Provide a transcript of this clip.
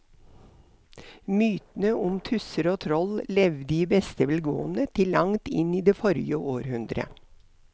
Mytene om tusser og troll levde i beste velgående til langt inn i forrige århundre.